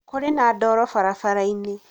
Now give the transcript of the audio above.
kũrĩ na ndoro barabara-inĩ